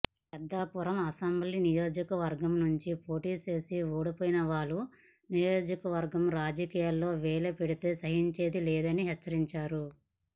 Peddapuram assembly నియోజకవర్గం నుంచి పోటీ చేసి ఓడిపోయినవాళ్లు నియోజకవర్గ రాజకీయాల్లో వేలిపెడితే సహించేది లేదని హెచ్చరించారు